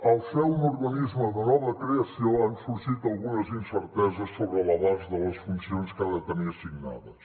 al ser un organisme de nova creació han sorgit algunes incerteses sobre l’abast de les funcions que ha de tenir assignades